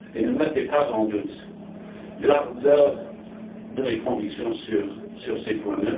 Ne mettez pas en doute l'ardeur de mes convictions sur ces points.